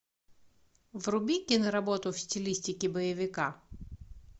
вруби киноработу в стилистике боевика